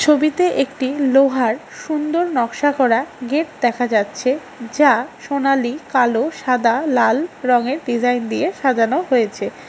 ছবিতে একটি লোহার সুন্দর নকশা করা গেট দেখা যাচ্ছে যা সোনালী কালো সাদা লাল রঙের ডিজাইন দিয়ে সাজানো হয়েছে।